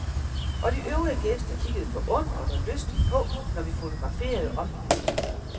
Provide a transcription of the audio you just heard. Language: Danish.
Og de øvrige gæster kikkede forundret og lystigt på, når vi fotograferede omgivelserne.